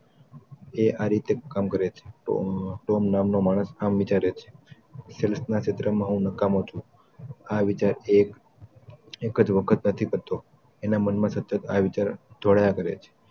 એ આ રીતે કામ કરે છે તો તોમ નામનો માણસ આમ વિચારે છે સેલ્સના કામમાં હું નકામો જ છું આ વિચારથી એક એક જ વખત નથી મરતો એના મનમાં સતત આ વિચાર પડયા કરે છે